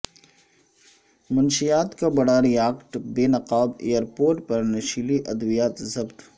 منشیات کا بڑا ریاکٹ بے نقاب ایر پورٹ پر نشیلی ادویات ضبط